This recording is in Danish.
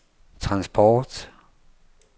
transport